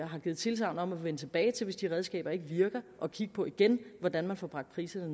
har givet tilsagn om at vende tilbage hvis de redskaber ikke virker og kigge på igen hvordan man får bragt priserne